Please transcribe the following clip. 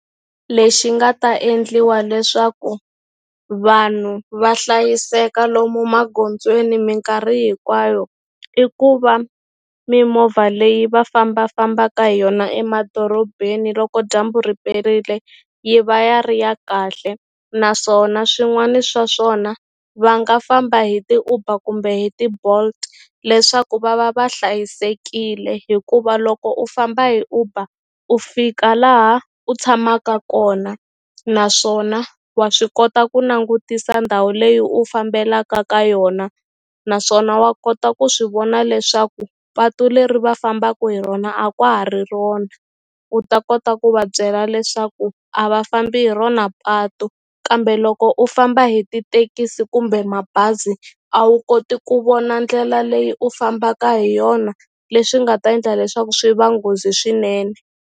Lexi nga ta endliwa leswaku vanhu va hlayiseka lomu magondzweni minkarhi hinkwayo i ku va mimovha leyi va fambafambaka hi yona emadorobeni loko dyambu riperile yi va ya ri ya kahle naswona swin'wani swa swona va nga famba hi ti-Uber kumbe hi ti-Bolt leswaku va va va hlayisekile hikuva loko u famba hi Uber u fika laha u tshamaka kona naswona wa swi kota ku langutisa ndhawu leyi u fambelaka ka yona naswona wa kota ku swi vona leswaku patu leri va fambaku hi rona a kwa ha ri rona u ta kota ku va byela leswaku a va fambi hi rona patu kambe loko u famba hi titekisi kumbe mabazi a wu koti ku vona ndlela leyi u fambaka hi yona leswi nga ta endla leswaku swi va nghozi swinene.